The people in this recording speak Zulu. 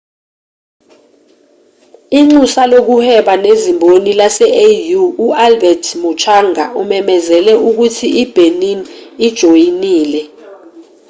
inxusa lokuhweba nezimboni lase-au u-albert muchanga umemezele ukuthi i-benin ijoyinile